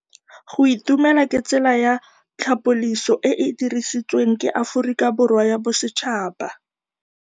Go itumela ke tsela ya tlhapolisô e e dirisitsweng ke Aforika Borwa ya Bosetšhaba.